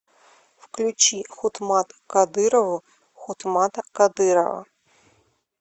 включи хутмат кадырову хутмата кадырова